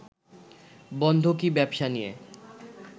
বন্ধকি ব্যবসা নিয়ে